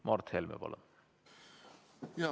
Mart Helme, palun!